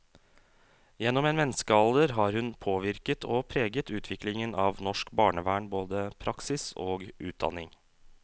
Gjennom en menneskealder har hun påvirket og preget utviklingen av norsk barnevern, både praksis og utdanning.